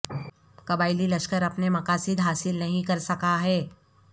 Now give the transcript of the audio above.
قبائلی لشکر اپنے مقاصد حاصل نہیں کر سکا ہے